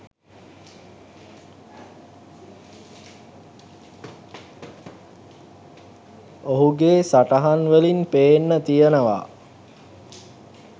ඔහුගේ සටහන් වලින් පේන්න තියනවා.